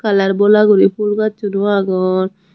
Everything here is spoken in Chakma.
kalarbola guri fulgassun o agon.